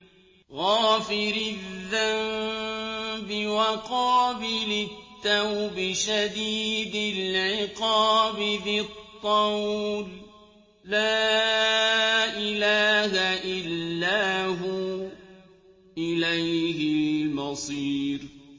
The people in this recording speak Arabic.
غَافِرِ الذَّنبِ وَقَابِلِ التَّوْبِ شَدِيدِ الْعِقَابِ ذِي الطَّوْلِ ۖ لَا إِلَٰهَ إِلَّا هُوَ ۖ إِلَيْهِ الْمَصِيرُ